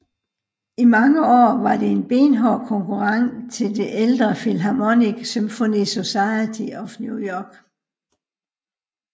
I mange år var det en benhård konkurrent til det ældre Philharmonic Symphony Society of New York